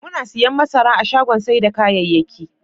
Muna siyan masara a shagon sai da kayayyakin.